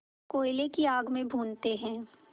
कोयले की आग में भूनते हैं